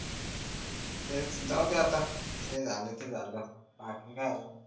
तेच जाऊदे आता जे झाला ते झाला बाकी काय आहे